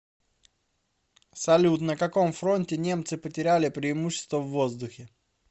салют на каком фронте немцы потеряли преимущество в воздухе